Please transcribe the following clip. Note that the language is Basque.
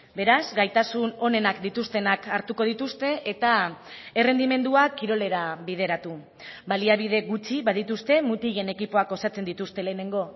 beraz gaitasun onenak dituztenak hartuko dituzte eta errendimenduak kirolera bideratu baliabide gutxi badituzte mutilen ekipoak osatzen dituzte lehenengo